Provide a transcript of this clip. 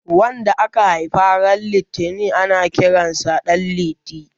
wanda aka Haifa ran litinin ana Kiransa danliti